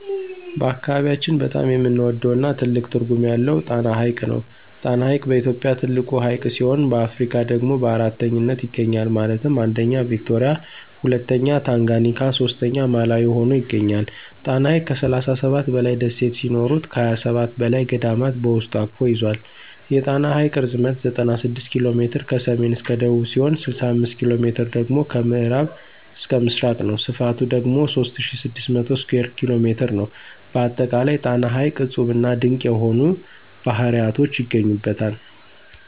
በአካባቢያችን በጣም የምንወደው እና ትልቅ ትርጉም ያለው ጣና ሐይቅ ነው። ጣና ሐይቅ በኢትዮጵያ ትልቁ ሀይቅ ሲሆን በአፍሪካ ደግሞ በአራተኛነት ይገኛል ማለትም 1ኛ ቪክቶሪያ 2ኛ ታንጋኒካ 3ኛ ማላዊ ሁኖ ይገኛል። ጣና ሐይቅ ከ37 በላይ ደሴት ሲኖሩት ከ27 በላይ ገዳማት በውስጡ አቅፎ ይዞል። የጣና ሐይቅ ርዝመት 96 ኪ.ሜ ከሰሜን እስከ ደቡብ ሲሆን 65ኪ.ሜ ደግሞ ከምዕራብ እስከ ምስራቅ ነው። ስፍቱ ደግሞ 3600 ስኩየር ኪ.ሜ ነው። በአጠቃላይ ጣና ሐይቅ እፁብና ድንቅ የሆኑ ባህርያቶች ይገኙበታል።